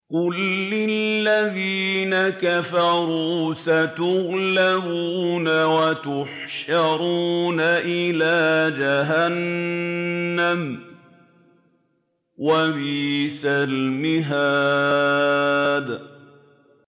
قُل لِّلَّذِينَ كَفَرُوا سَتُغْلَبُونَ وَتُحْشَرُونَ إِلَىٰ جَهَنَّمَ ۚ وَبِئْسَ الْمِهَادُ